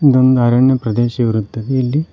ಒಂದ್ ಅರಣ್ಯ ಪ್ರದೇಶ ಇರುತ್ತದೆ ಇಲ್ಲಿ--